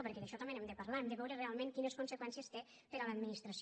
perquè d’això també n’hem de parlar hem de veure realment quines conseqüències té per a l’administració